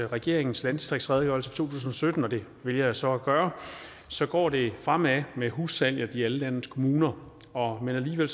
regeringens landdistriktsredegørelse tusind og sytten og det vælger jeg så at gøre så går det fremad med hussalg i alle landets kommuner men alligevel